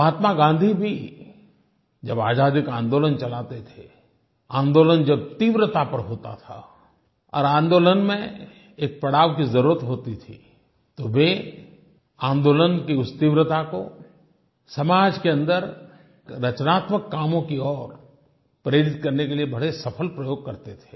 महात्मा गाँधी भी जब आज़ादी का आन्दोलन चलाते थे आन्दोलन जब तीव्रता पर होता था और आन्दोलन में एक पड़ाव की ज़रूरत होती थी तो वे आन्दोलन की उस तीव्रता को समाज के अन्दर रचनात्मक कामों की ओर प्रेरित करने के लिए बड़े सफल प्रयोग करते थे